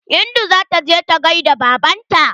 Hindu zata je ta gaida baban ta.